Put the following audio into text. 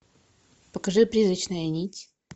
покажи призрачная нить